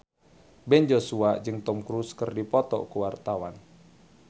Ben Joshua jeung Tom Cruise keur dipoto ku wartawan